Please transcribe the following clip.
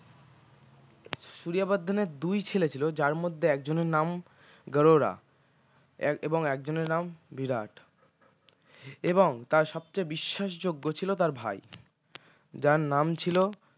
সূরিয়া বর্ধন এর দুই ছেলে ছিল যার মধ্যে একজনের নাম গাড়ুরা এক এবং একজনের নাম বিরাট এবং তার সবচেয়ে বিশ্বাসযোগ্য ছিল তার ভাই যার নাম ছিল